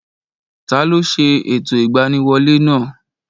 Taló ṣe ẹ̀tọ́ ìgbaniwolẹ́ náà?